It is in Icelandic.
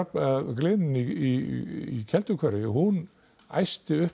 gliðnun í Kelduhverfi hún æsti upp